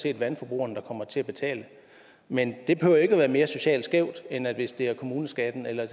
er vandforbrugerne der kommer til at betale men det behøver ikke være mere socialt skævt end hvis det er kommuneskatten eller